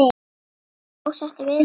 Ertu ósáttur við þetta?